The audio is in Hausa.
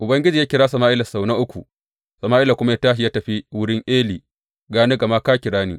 Ubangiji ya kira Sama’ila sau na uku, Sama’ila kuma ya tashi ya tafi wurin Eli, Ga ni, gama ka kira ni.